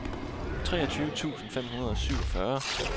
treogtyve tusind fem hundrede og syvogfyrre